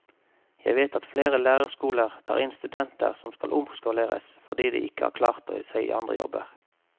Jeg vet at flere lærerskoler tar inn studenter som skal omskoleres fordi de ikke har klart seg i andre jobber.